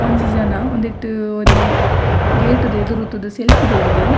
ಒಂಜಿ ಜನ ಉಂದೆಟ್ ಒರಿ ಗೇಟ್ ದ ಎದುರುತುದು ಸೆಲ್ಫೀ ದೈದೆ.